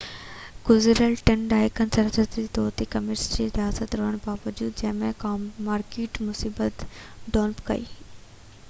گذريل ٽن ڏهاڪن دوران باضابطه طور تي ڪميونسٽ رياست رهڻ باوجود چين هڪ مارڪيٽ معيشت ڊولپ ڪئي